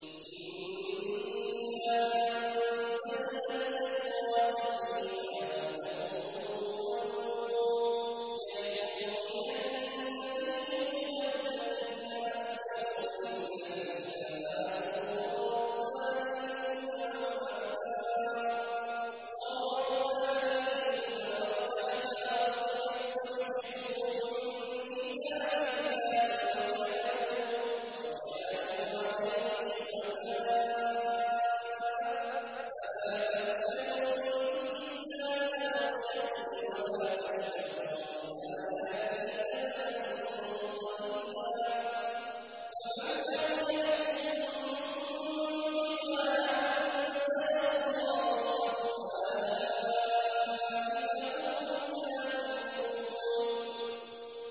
إِنَّا أَنزَلْنَا التَّوْرَاةَ فِيهَا هُدًى وَنُورٌ ۚ يَحْكُمُ بِهَا النَّبِيُّونَ الَّذِينَ أَسْلَمُوا لِلَّذِينَ هَادُوا وَالرَّبَّانِيُّونَ وَالْأَحْبَارُ بِمَا اسْتُحْفِظُوا مِن كِتَابِ اللَّهِ وَكَانُوا عَلَيْهِ شُهَدَاءَ ۚ فَلَا تَخْشَوُا النَّاسَ وَاخْشَوْنِ وَلَا تَشْتَرُوا بِآيَاتِي ثَمَنًا قَلِيلًا ۚ وَمَن لَّمْ يَحْكُم بِمَا أَنزَلَ اللَّهُ فَأُولَٰئِكَ هُمُ الْكَافِرُونَ